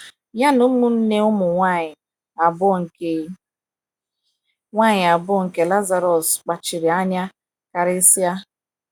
Ya na ụmụnne nwanyị abụọ nke nwanyị abụọ nke Lazarọs kpachiri anya karịsịa.